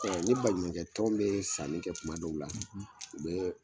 Ɛ ni baɲumankɛ tɔn be sanni kɛ kuma dɔw la u bee